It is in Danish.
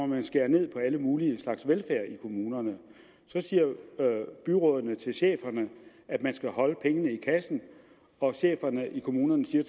man skære ned på alle mulige slags velfærd i kommunerne så siger byrådene til cheferne at man skal holde pengene i kassen og cheferne i kommunerne siger